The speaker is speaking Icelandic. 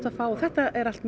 að fá og þetta er allt